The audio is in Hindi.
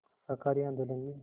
शाकाहारी आंदोलन में